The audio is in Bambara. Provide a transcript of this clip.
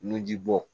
Nunji bɔ